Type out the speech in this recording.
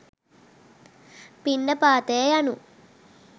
පිණ්ඩපාතය යනු